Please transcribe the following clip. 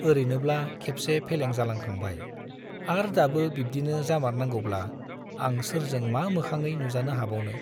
ओरैनोब्ला खेबसे फेलें जालांखांबाय , आर दाबो बिब्दिनो जामारनांगौब्ला आं सोरजों मा मोखाङै नुजानो हाबावनो !